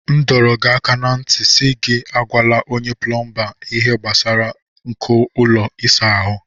M dọrọ gị aka ná ntị si gị agwala onye plọmba ihe gbasara nko ụlọ ịsa ahụ.